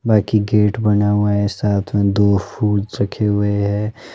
बाकी गेट बना हुआ है साथ में दो फूड्स रखे हुए है।